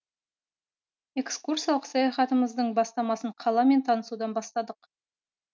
экскурсиялық саяхатымыздың бастамасын қаламен танысудан бастадық